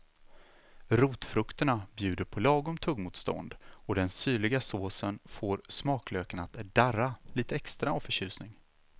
Rotfrukterna bjuder på lagom tuggmotstånd och den syrliga såsen får smaklökarna att darra lite extra av förtjusning.